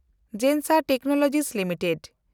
ᱡᱮᱱᱥᱮᱱᱰ Technologies limited